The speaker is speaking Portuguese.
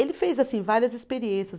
Ele fez assim várias experiências.